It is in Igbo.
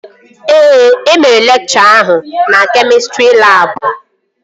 Ee, emere lekchọ ahụ na kemịstrị labụ